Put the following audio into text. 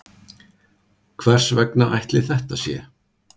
Hvers vegna ætli þetta sé?